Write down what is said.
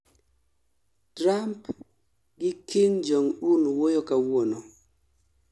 trump gi kim jong un wuoyo kawuono